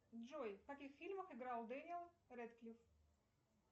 джой в каких фильмах играл дэниэль рэдклив